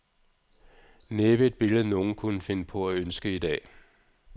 Næppe et billede nogen kunne finde på at ønske i dag.